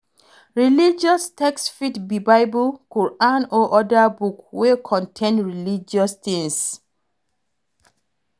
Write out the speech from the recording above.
Religious text fit be bible, Quran or oda book wey contain religious things